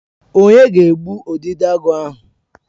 Onye ga-egbu Udidoagu ahụ?